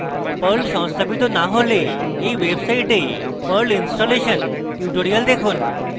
perl সংস্থাপিত না হলে এই website perl ইনস্টলেশন tutorial দেখুন